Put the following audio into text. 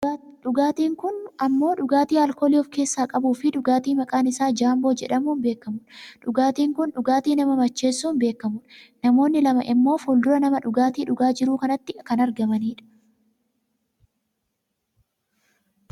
Dhugaatiin kun ammoo dhugaatii aalkoolii of keessaa qabuufi dhugaatii maqaan isaa jaamboo jedhamuun beekamudha. Dhugaatiin kun dhugaatii nama macheessuun beekamudha. Namoonni lama ammoo fuuldura nama dhugaatii dhugaa jiru kanaatti kan argamanidha.